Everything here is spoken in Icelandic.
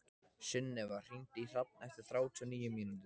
Sunneva, hringdu í Hrafn eftir þrjátíu og níu mínútur.